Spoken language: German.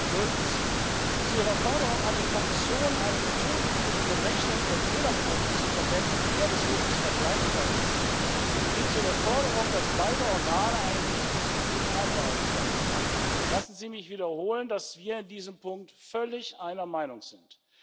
Drittens Zu Ihrer Forderung an die Kommission, eine Methodik für die Berechnung der Fehlerquoten zu verwenden, die der des Hofes vergleichbar ist, sowie zu der Forderung, dass beide Organe eine diesbezügliche Vereinbarung treffen Lassen Sie mich wiederholen, dass wir in diesem Punkt völlig einer Meinung sind.